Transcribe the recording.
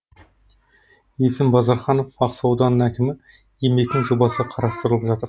есім базарханов ақсу ауданының әкімі еңбектің жобасы қарастырылып жатыр